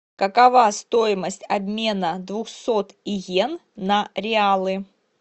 какова стоимость обмена двухсот йен на реалы